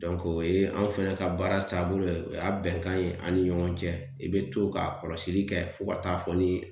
Dɔnke o ye anw fɛnɛ ka baara taabolo ye o y'a bɛnkan ye an ni ɲɔgɔn cɛ i be to ka kɔlɔsili kɛ fo ka taa fɔ ni